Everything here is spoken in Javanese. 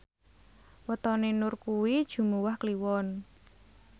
wetone Nur kuwi Jumuwah Kliwon